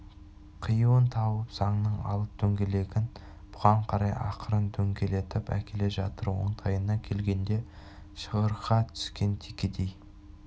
қиюын тауып заңның алып дөңгелегін бұған қарай ақырын дөңгелетіп әкеле жатыр оңтайына келгенде шығырға түскен текедей